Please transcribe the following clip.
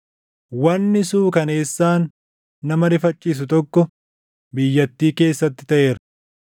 “Wanni suukaneessaan nama rifachiisu tokko biyyattii keessatti taʼeera: